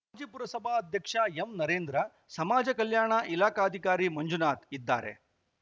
G ಪುರಸಭಾಧ್ಯಕ್ಷ ಎಂನರೇಂದ್ರ ಸಮಾಜ ಕಲ್ಯಾಣ ಇಲಾಖಾಧಿಕಾರಿ ಮಂಜುನಾಥ್‌ ಇದ್ದಾರೆ